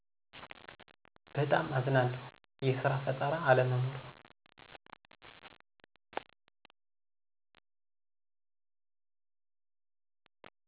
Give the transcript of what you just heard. በጣም አዝናለሁ። የስራ ፈጠራ አለመኖር